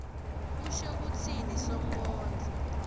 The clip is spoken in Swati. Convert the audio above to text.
usho kutsini sonkondlo